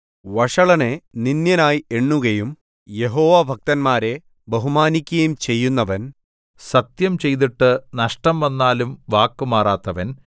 വഷളനെ നിന്ദ്യനായി എണ്ണുകയും യഹോവാഭക്തന്മാരെ ബഹുമാനിക്കുകയും ചെയ്യുന്നവൻ സത്യംചെയ്തിട്ട് നഷ്ടം വന്നാലും വാക്കു മാറാത്തവൻ